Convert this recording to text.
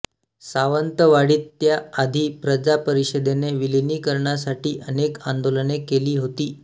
सावंतवाडीत त्या आधी प्रजा परिषदेने विलिनिकरणासाठी अनेक अंदोलने केली होती